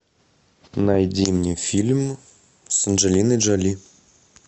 найди мне фильм с анджелиной джоли